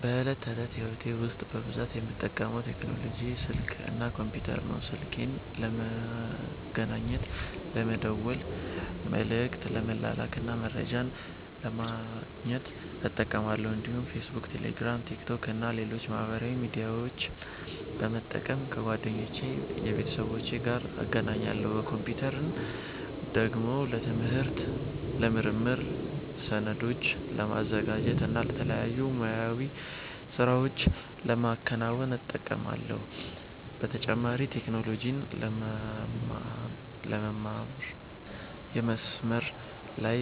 በዕለት ተዕለት ሕይወቴ ውስጥ በብዛት የምጠቀመው ቴክኖሎጂ ስልክ እና ኮምፒተር ነው። ስልኬን ለመገናኘት፣ ለመደወል፣ መልዕክት ለመላክ እና መረጃ ለማግኘት እጠቀማለሁ። እንዲሁም ፌስቡክ፣ ቴሌግራም፣ ቲክቶክ እና ሌሎች ማህበራዊ ሚዲያዎችን በመጠቀም ከጓደኞቼና ከቤተሰቦቼ ጋር እገናኛለሁ። ኮምፒተርን ደግሞ ለትምህርት፣ ለምርምር፣ ሰነዶችን ለማዘጋጀት እና የተለያዩ ሙያዊ ሥራዎችን ለማከናወን እጠቀማለሁ። በተጨማሪም ቴክኖሎጂን ለመማር፣ የመስመር ላይ